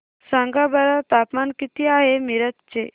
सांगा बरं तापमान किती आहे मिरज चे